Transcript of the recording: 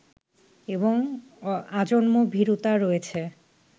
এবং আজন্ম ভীরুতা রয়েছে